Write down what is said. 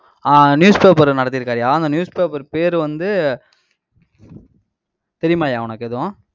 ஆஹ் newspaper நடத்திருக்காருய்யா. அந்த newspaper பேரு வந்து தெரியுமாய்யா உனக்கு எதுவும்?